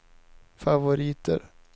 favoriter